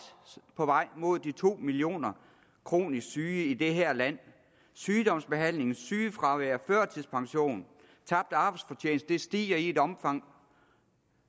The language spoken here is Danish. på vej mod de to millioner kronisk syge i det her land sygdomsbehandling sygefravær førtidspension og tabt arbejdsfortjeneste stiger i et omfang